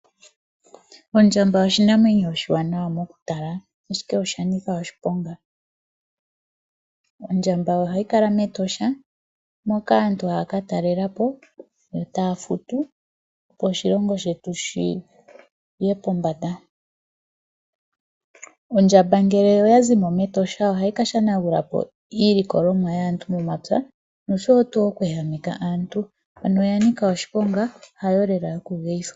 Ondjamba oshinamwenyo oshiwanawa mokutala ashike osha nika osniponga. Ondjamba ohayi kala mEtosha moka aantu haya ka talela po, ta ya futu opo oshilongo shetu shiye pombanda. Ondjamba ngele oya zi mo mEtosha ohahi ka shanagula po iilikolomwa yaantu momapya noshowo oku ehameka aantu. Ano oya nika oshiponga, hayo lela yokugeyithwa.